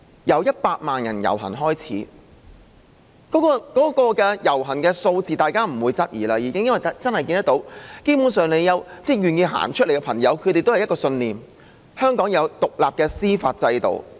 由100萬人遊行開始，大家已經不會質疑遊行人士的數字，因為大家真的看到，願意參與的朋友都有一個信念，就是香港要有獨立的司法制度。